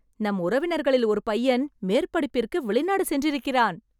நம் உறவினர்களில் ஒரு பையன் மேற்படிப்பிற்கு வெளிநாடு சென்றிருக்கிறான்